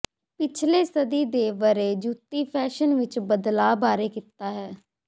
ਪਿਛਲੇ ਸਦੀ ਦੇ ਵਰੇ੍ ਜੁੱਤੀ ਫੈਸ਼ਨ ਵਿੱਚ ਬਦਲਾਅ ਬਾਰੇ ਕੀਤਾ ਹੈ